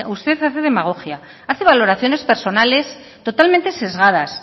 usted hace demagogia hace valoraciones personales totalmente sesgadas